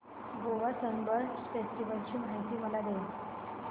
Goa Sunburn festival ची माहिती मला दे